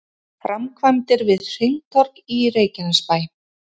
Framkvæmdir við hringtorg í Reykjanesbæ